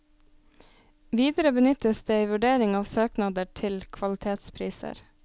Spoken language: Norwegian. Videre benyttes det i vurdering av søknader til kvalitetspriser.